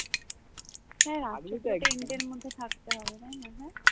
হ্যাঁ tent এর মধ্যে থাকতে হবে, তাই না হ্যাঁ?